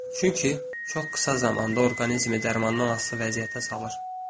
Çünki çox qısa zamanda orqanizmi dərmandan asılı vəziyyətə salır.